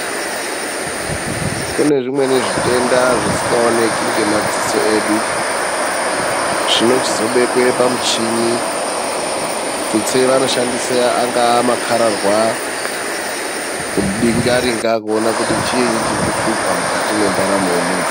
Kune zvimweni zvitenda zvisikaoneki ngemadziso edu zvibochizobekwe pamichini tutse vangashandisa angava makarahwa kubingaringa kuona kuti chii chirikishupa mukati mendaramo yemuntu.